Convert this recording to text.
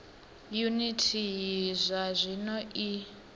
yuniti iyi zwa zwino i